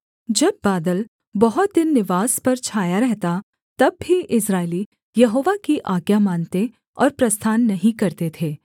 जब बादल बहुत दिन निवास पर छाया रहता तब भी इस्राएली यहोवा की आज्ञा मानते और प्रस्थान नहीं करते थे